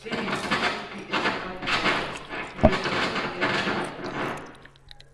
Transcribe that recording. if you dey live wit pesin wey dey suffer depression um you um suppose get patience.